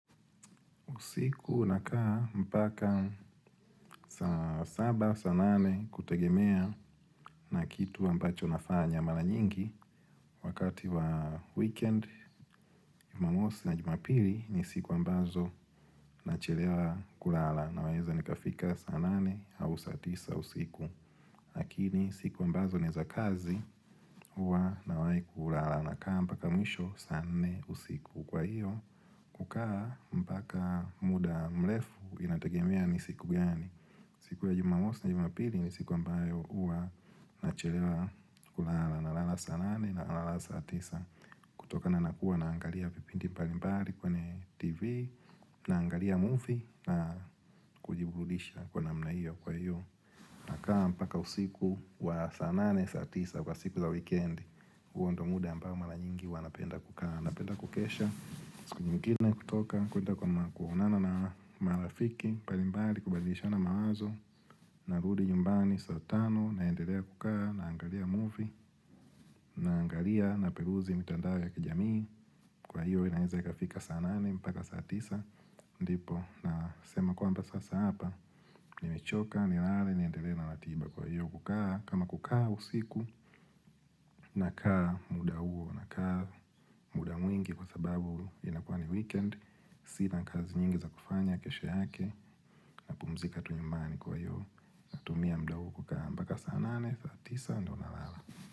Usiku nakaa mpaka saa saba saa nane kutegemea na kitu ambacho nafanya. Mara nyingi wakati wa weekend. Jumamosi na jumapili ni siku ambazo nachelewa kulala. Naweza nikafika saa nane au saa tisa usiku. Lakini siku ambazo ni za kazi huwa nawahi kulala. Nakaa mpaka mwisho saa nne usiku. Kwa hiyo, kukaa mpaka muda mrefu inategemea ni siku gani. Siku ya jumamosi na jumapili ni siku ambayo huwa nachelewa kulala, nalala saa nane, nalala saa tisa kutokana na kuwa naangalia vipindi mbalimbali kwenye tv, naangalia movie na kujiburudisha kwa namna hiyo. Kwa hiyo Nakaa mpaka usiku wa saa nane saa tisa wa siku za weekend, huo ndio muda ambao mara nyingi huwa napenda kukaa. Napenda kukesha usiku nyingine kutoka kwenda kwa kuonana na marafiki mbalimbali, kubadilishana mawazo Narudi nyumbani saa tano, naendelea kukaa naangalia movie, naangalia napeluzi mitandao ya kijamii, Kwa hiyo inaweza ikafika saa nane mpaka saa tisa ndipo nasema kwamba sasa hapa nimechoka nilale niendelee na ratiba. Kwa hiyo kukaa kama kukaa usiku Nakaa muda huo, nakaa muda mwingi Kwa sababu inakuwa ni weekend sina kazi nyingi za kufanya kesho yake, napumzika tu nyumbani kwa hiyo, natumia muda huu kukaa mpaka saa nane, saa tisa, ndio nalala.